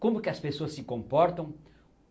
Como que as pessoas se comportam?